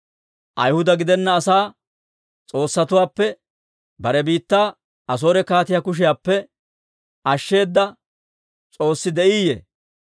Ayihuda gidenna asaa s'oossatuwaappe bare biittaa Asoore kaatiyaa kushiyaappe ashsheeda s'oossi de'iiyye?